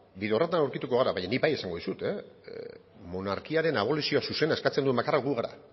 bide horretan aurkituko gara baina ni bai esango dizut monarkiaren aboluzio zuzena eskatzen duen bakarra gu gara